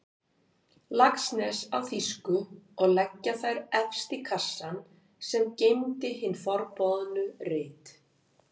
Laxness á þýsku og leggja þær efst í kassann sem geymdi hin forboðnu rit.